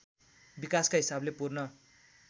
विकासका हिसाबले पूर्ण